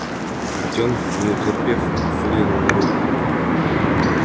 артем не утерпев выглянул наружу